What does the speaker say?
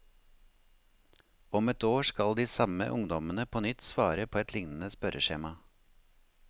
Om ett år skal de samme ungdommene på nytt svare på et lignende spørreskjema.